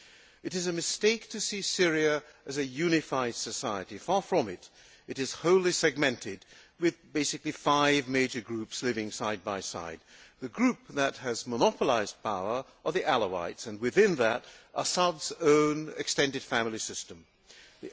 It is a mistake to see Syria as a unified society, far from it it is wholly divided, with basically five major groups living side by side. The group that has monopolised power is the Alawites, to which Assad's own extended family belongs.